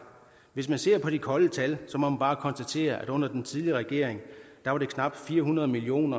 hvis man ser på de kolde tal må man bare konstatere at under den tidligere regering var der knap fire hundrede million